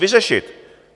Vyřešit!